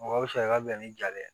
Mɔgɔ bɛ sari ka bɛn ni ja ye dɛ